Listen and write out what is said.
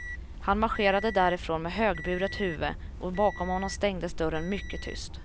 Han marscherade därifrån med högburet huvud och bakom honom stängdes dörren mycket tyst.